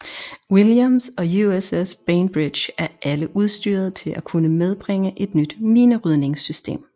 Williams og USS Bainbridge er alle udstyret til at kunne medbringe et nyt minerydningssystem